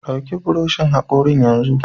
Ɗauki buroshin hakori yanzu!